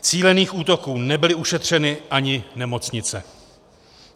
Cílených útoků nebyly ušetřeny ani nemocnice.